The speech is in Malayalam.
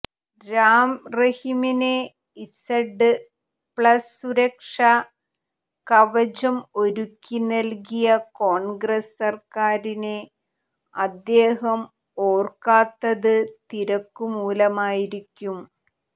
രാംറഹിമിന് ഇസഡ് പ്ലസ് സുരക്ഷാ കവചം ഒരുക്കി നൽകിയ കോൺഗ്രസ് സർക്കാരിനെ അദ്ദേഹം ഓർക്കാത്തത് തിരക്കുമൂലമായിരിക്കും